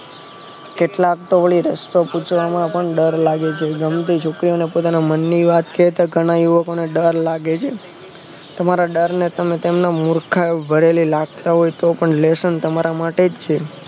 કેટલાકતો વળી રસ્તો પૂછવાનો આપણને ડર લાગે છે ગમતી છોકરો ને પોતાના મન ની વાત વાત કહેતા ઘણા યુવક ને ડર લાગે છે તમારા ડરને તમે મુર્ખાવ ભરેલું લાગશે lesson તમારા માટેજ છે